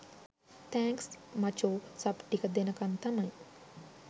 thanks මචෝ සබ් ටික දෙනකන් තමයි